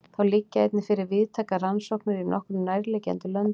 Þá liggja einnig fyrir víðtækar rannsóknir í nokkrum nærliggjandi löndum.